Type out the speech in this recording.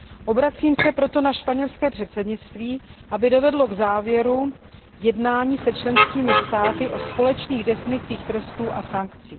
Obracím se proto na španělské předsednictví, aby dovedlo k závěru jednání se členskými státy o společných definicích trestů a sankcí.